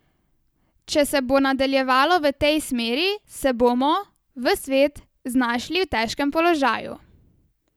Če se bo nadaljevalo v tej smeri, se bomo, ves svet, znašli v težkem položaju.